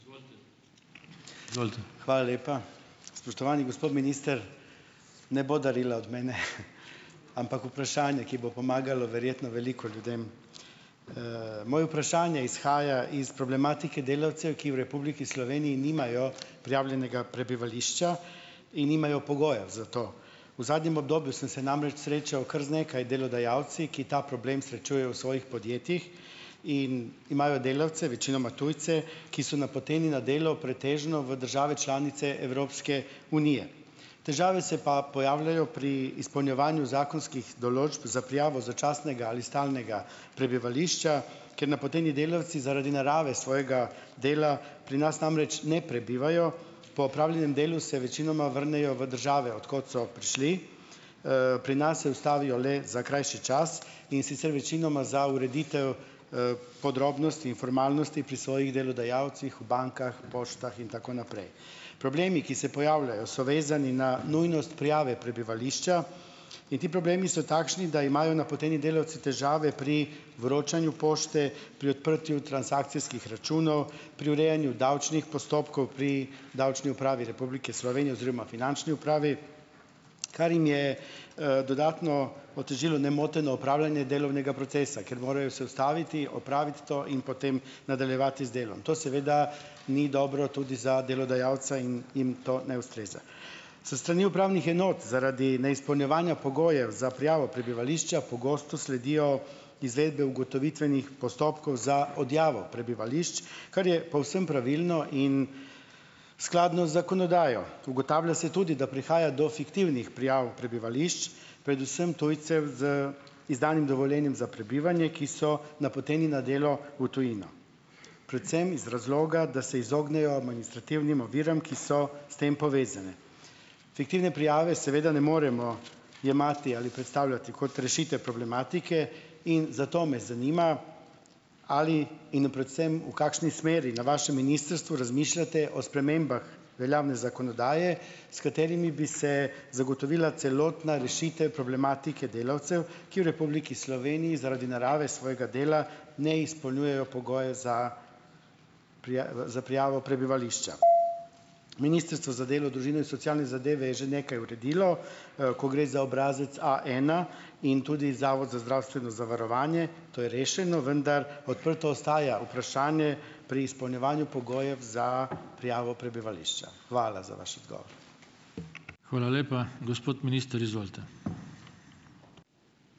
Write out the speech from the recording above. Hvala lepa. Spoštovani gospod minister! Ne bo darila od mene, ampak vprašanje, ki bo pomagalo verjetno veliko ljudem. Moje vprašanje izhaja iz problematike delavcev, ki v Republiki Sloveniji nimajo prijavljenega prebivališča in nimajo pogojev za to. V zadnjem obdobju sem se namreč srečal kar z nekaj delodajalci, ki ta problem srečujejo v svojih podjetjih in imajo delavce, večinoma tujce, ki so napoteni na delo pretežno v države članice Evropske unije. Težave se pa pojavljajo pri izpolnjevanju zakonskih določb za prijavo začasnega ali stalnega prebivališča, ker napoteni delavci zaradi narave svojega dela pri nas namreč ne prebivajo, po opravljenem delu se večinoma vrnejo v države, od kod so prišli, pri nas se ustavijo le za krajši čas, in sicer, večinoma za ureditev, podrobnosti in formalnosti pri svojih delodajalcih, v bankah, poštah in tako naprej. Problemi, ki se pojavljajo, so vezani na nujnost prijave prebivališča, in ti problemi so takšni, da imajo napoteni delavci težave pri vročanju pošte, pri odprtju transakcijskih računov, pri urejanju davčnih postopkov pri Davčni upravi Republike Slovenije oziroma Finančni upravi, kar jim je, dodatno otežilo nemoteno opravljanje delovnega procesa, ker morajo se ustaviti, opraviti to in potem nadaljevati z delom. To seveda ni dobro tudi za delodajalca in in to ne ustreza. S strani upravnih enot zaradi neizpolnjevanja pogojev za prijavo prebivališča, pogosto sledijo izvedbe ugotovitvenih postopkov za odjavo prebivališč, kar je povsem pravilno in skladno z zakonodajo. Ugotavlja se tudi, da prihaja do fiktivnih prijav prebivališč, predvsem tujcev z izdanim dovoljenjem za prebivanje, ki so napoteni na delo v tujino, predvsem iz razloga, da se izognejo administrativnim oviram, ki so s tem povezane. Fiktivne prijave seveda ne moremo jemati ali predstavljati kot rešitev problematike in zato me zanima, ali in predvsem v kakšni smeri na vašem ministrstvu razmišljate o spremembah veljavne zakonodaje, s katerimi bi se zagotovila celotna rešitev problematike delavcev, ki v Republiki Sloveniji zaradi narave svojega dela ne izpolnjujejo pogoje za za prijavo prebivališča? Ministrstvo za delo, družino in socialne zadeve je že nekaj uredilo, ko gre za obrazec Aena in tudi Zavod za zdravstveno zavarovanje, to je rešeno, vendar, odprto ostaja vprašanje pri izpolnjevanju pogojev za prijavo prebivališča. Hvala za vaš odgovor.